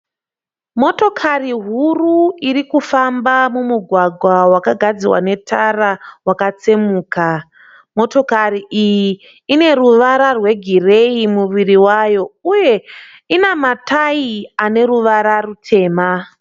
Motokari huru iri kufamba mumugwagwa wakagadzirwa netara wakatsemuka. Motokari iyi ine ruvara rwegireyi muviri wayo uye ine matayi ane ruvara rutema.